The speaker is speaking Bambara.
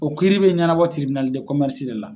O kiiriri bɛ ɲɛnabɔ tiribinali de la.